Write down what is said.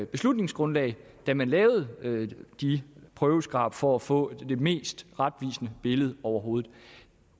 beslutningsgrundlag da man lavede de prøveskrab for at få det mest retvisende billede overhovedet